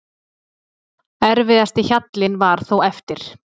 Erfiðasti hjallinn var þó eftir.